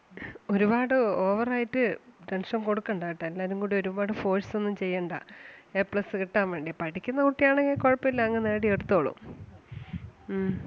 ഒരുപാട് over ആയിട്ട് tension കൊടുക്കണ്ട കേട്ടാ എല്ലാരും കൂടെ ഒരുപാട് force ഒന്നും ചെയ്യണ്ട A plus കിട്ടാൻ വേണ്ടി പഠിക്കുന്ന കുട്ടി ആണെങ്കിൽ കുഴപ്പില്ല അങ്ങ് നേടി എടുത്തോളും. ഉം